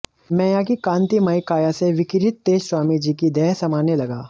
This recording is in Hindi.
मैया की कांतिमय काया से विकिरित तेज स्वामी जी की देह समाने लगा